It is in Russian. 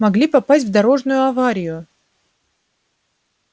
могли попасть в дорожную аварию